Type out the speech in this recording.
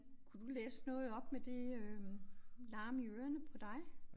Kunne du læse noget op med det øh larm i ørerne på dig?